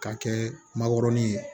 K'a kɛ makɔrɔni ye